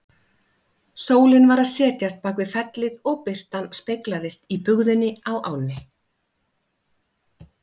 Sólin var að setjast bak við fellið og birtan speglaðist í bugðunni á ánni.